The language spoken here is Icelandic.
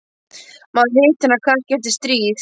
Maður hittir hann kannski eftir stríð.